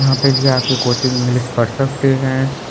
यहाँ पे भी आके कोचिंग इंग्लिश पढ़ सकते है।